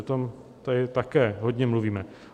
O tom tady také hodně mluvíme.